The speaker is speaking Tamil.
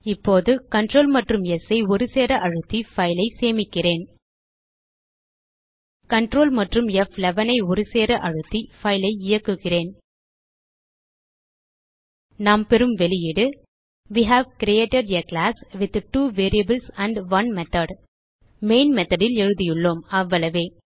இப்போது கன்ட்ரோல் மற்றும் ஸ் ஐ ஒருசேர அழுத்தி பைல் ஐ சேமிக்கிறேன் கன்ட்ரோல் மற்றும் ப்11 ஐ ஒருசேர அழுத்தி பைல் ஐ இயக்குகிறேன் நாம் பெறும் வெளியீடு we have created a class with 2 variables and 1 method main methodல் எழுதியுள்ளோம் அவ்வளவே